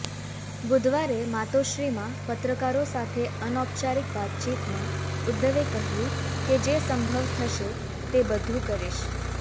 બુધવારે માતોશ્રીમાં પત્રકારો સાથે અનૌપચારિક વાતચીતમાં ઉદ્ધવે કહ્યું કે જે સંભવ થશે તે બધુ કરીશ